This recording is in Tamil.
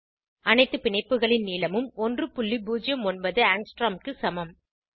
அனைத்து பிணைப்புகளின் நீளமும் 109 ஆங்ஸ்ட்ரோம் க்கு சமம்